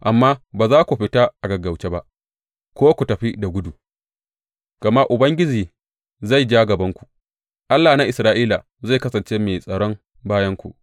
Amma ba za ku fita a gaggauce ba ko ku tafi da gudu; gama Ubangiji zai ja gabanku, Allah na Isra’ila zai kasance mai tsaron bayanku.